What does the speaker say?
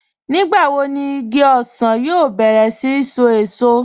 Nígbàwò ní ìgí òṣan yóò bẹ̀rẹ̀ sí ṣó èṣọ̀?